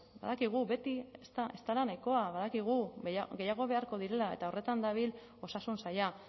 badakigu beti ez dela nahikoa badakigu gehiago beharko direla eta horretan dabil osasun saila